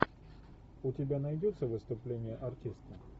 у тебя найдется выступление артиста